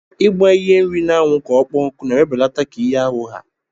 Igba ihe nri na anwu ka ọkpọ nku na ewebelata ka ihe ahu ha.